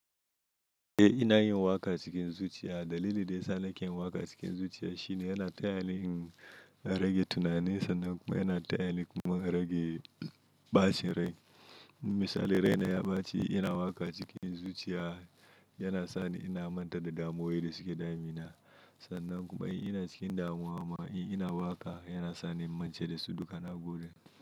Eh ina yin waƙa cikin zuciya. Dalili da ya sa nake yin waƙa cikin zuciya shine yana taya ni in rage tunani sannan kuma yana taya ni kuma rage ɓacin rai. Misali raina ya ɓaci ina waƙa cikin zuciya yana sani ina manta da damuwa da suke damina sannan kuma in ina cikin damuwa amma in ina waƙa yana sani in mance da su duka na gode.